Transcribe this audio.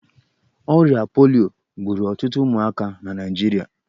Ọrịa polio gburu ọtụtụ ụmụaka na Naịjirịa.